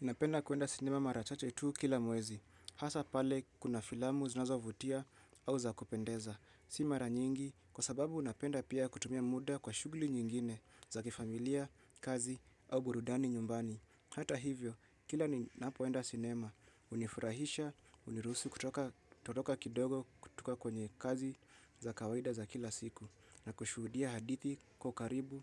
Napenda kwenda cinema mara chache tu kila mwezi, hasa pale kuna filamu zinazo vutia au za kupendeza, si mara nyingi kwa sababu napenda pia kutumia muda kwa shughuli nyingine za kifamilia, kazi au burudani nyumbani. Hata hivyo, kila ninapoenda cinema, hunifurahisha, huniruhusi kutoka kutoka kidogo kutoka kwenye kazi za kawaida za kila siku na kushuhudia hadithi kwa ukaribu,